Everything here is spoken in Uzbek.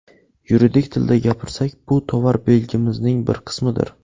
Yuridik tilda gapirsak, bu tovar belgimizning bir qismidir.